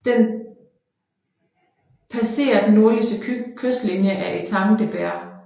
Den passerer den nordlige kystlinje af Étang de Berre